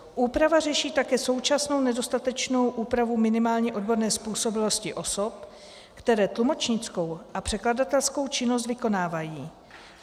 Úprava řeší také současnou nedostatečnou úpravu minimálně odborné způsobilosti osob, které tlumočnickou a překladatelskou činnost vykonávají.